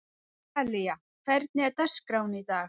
Þalía, hvernig er dagskráin í dag?